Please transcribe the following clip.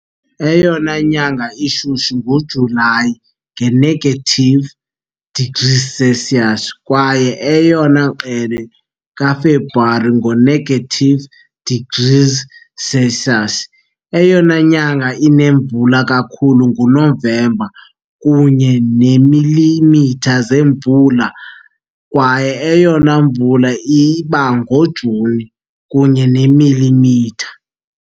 Eyona nyanga ishushu nguJulayi, nge-degrees Celsius, kwaye eyona ngqele kaFebruwari, ngo-negative degrees Celsius. Eyona nyanga inemvula kakhulu nguNovemba, kunye neemilimitha zemvula, kwaye eyona mvula iba ngoJuni, kunye neemilimitha .